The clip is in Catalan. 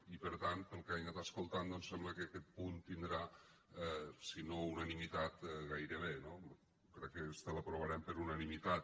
i per tant pel que he anat escoltant doncs sembla que aquest punt tindrà si no unanimitat gairebé no crec que esta l’aprovarem per unanimitat